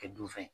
Kɛ dunfɛn ye